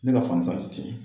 Ne ka fan ti tiɲɛ.